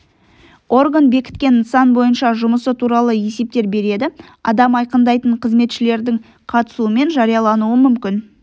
орган бекіткен нысан бойынша жұмысы туралы есептер береді адам айқындайтын қызметшілердің қатысуымен жариялануы мүмкін